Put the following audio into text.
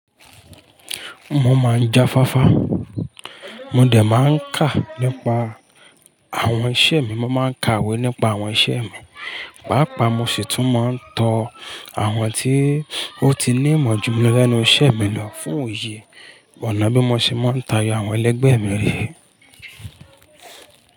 Mo máa ń jáfáfá, mo dẹ̀ máa ń kà nípa àwọn iṣẹ́ mi, mo máa ń ka ìwé nípa àwọn iṣẹ́ mi, pàápàá mo sì tún máa ń tọ àwọn tí ó ti ní ìmọ̀ jù mi lẹ́nu iṣẹ́ mi lọ fún òye, ọ̀nà bí mo ṣe máa ń tayọ àwọn ẹlẹgbẹ́ mi re.